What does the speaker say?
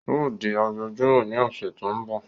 Yóò di agbẹjọ́rọ̀ ní ọ̀sẹ̀ tí ń bò